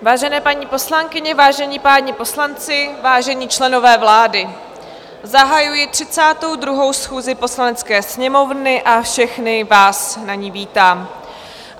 Vážené paní poslankyně, vážení páni poslanci, vážení členové vlády, zahajuji 32. schůzi Poslanecké sněmovny a všechny vás na ní vítám.